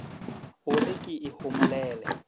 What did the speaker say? o re ke e homolele